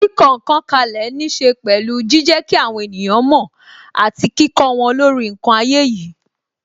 Kíkọ ǹkan kalẹ ní ṣe pẹ̀lú jijẹ kí àwọn ènìyàn mo àti kíkó wọn lórí ǹkan ayé yìí.